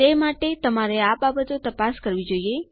તે માટે તમારે આ બાબતો તપાસ કરવી જોઈએ